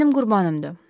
O mənim qurbanımdır.